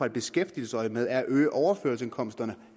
i beskæftigelsesøjemed er at øge overførselsindkomsterne